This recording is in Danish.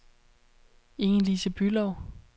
Inge-Lise Bülow